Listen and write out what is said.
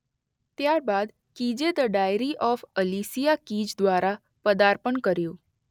ત્યારબાદ કીઝે the diary of Alicia Keys દ્વારા પદાર્પણ કર્યું